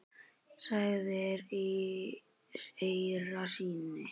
sagðir í eyra syni.